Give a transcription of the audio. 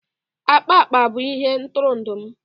Akpa akpa bụ ihe ntụrụndụ m